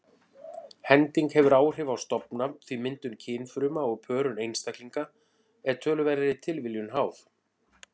Hending hefur áhrif á stofna því myndun kynfruma og pörun einstaklinga er töluverðri tilviljun háð.